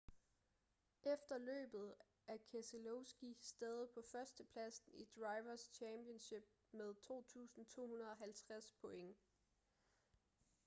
efter løbet er keselowski stadig på førstepladsen i drivers' championship med 2.250 point